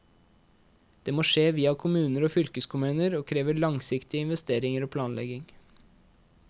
Det må skje via kommuner og fylkeskommuner og krever langsiktige investeringer og planlegging.